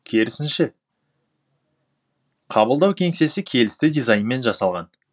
керісінше қабылдау кеңсесі келісті дизайнмен жасалған